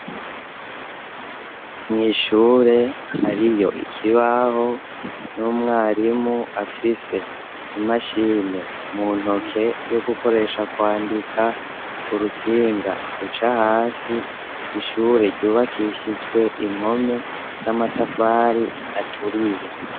Mw'ishure hariyo ikibaho n'umwarimu afise imashine mu ntoke yo gukoresha kwandika urutsinga ruca hasi, ishure ryubakishijwe impome z'amatafari aturiye.